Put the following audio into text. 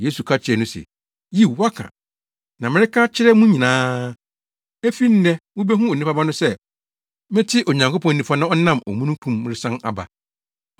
Yesu ka kyerɛɛ no se, “Yiw, woaka. Na mereka kyerɛ mo nyinaa: Efi nnɛ mubehu Onipa Ba no sɛ mete Onyankopɔn nifa na ɔnam omununkum mu resan aba.”